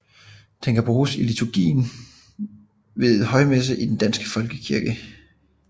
Den kan bruges i liturgien ved højmessen i Den Danske Folkekirke